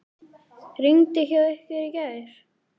Rigndi hjá ykkur í gær?